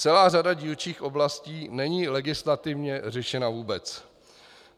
Celá řada dílčích oblastí není legislativně řešena vůbec.